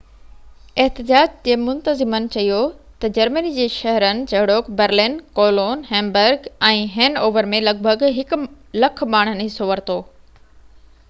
احتجاج جي منتظمن چيو تہ جرمني جي شهرن جهڙوڪ Berlin, Cologne, Hamburg ۽ Hanover ۾ لڳ ڀڳ 100،000 ماڻهن حصو ورتو